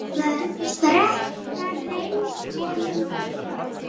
Brekka reynst honum brött.